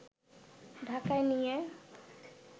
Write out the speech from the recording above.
ঢাকায় নিয়ে